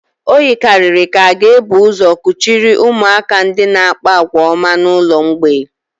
O yikarịrị ka a ga-ebu ụzọ kuchiri ụmụaka ndị na-akpa àgwà ọma n'ụlọ mgbei